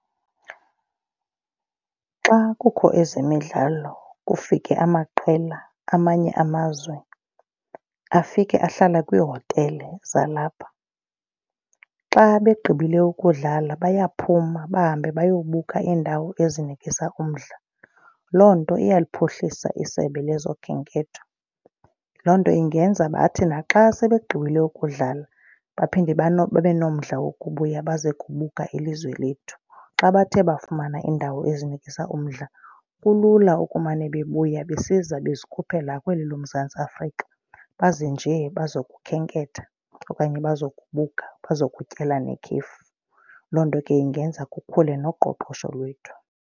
Xa kukho ezemidlalo kufike amaqela amanye amazwe afike ahlale kwiihotele zalapha. Xa begqibile ukudlala bayaphuma bahambe bayobuka iindawo ezinikisa umdla. Loo nto iyaliphuhlisa isebe lezokhenketho. Loo nto ingenza bathi naxa sebegqibile ukudlala baphinde babe nomdla wokubuya baze kukubuka ilizwe lethu. Xa bethe bafumana iindawo ezinikisa umdla kulula ukumane bebuya besiza bezikhuphela kweli loMzantsi Afrika. Baze njee bazokhenketha okanye bazo kubuka bazokutyela nekhefu. Loo nto ke ingenza kukhule noqoqosho lwethu.